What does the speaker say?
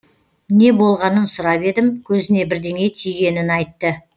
не болғанын сұрап едім көзіне бірдеңе тигенін айтты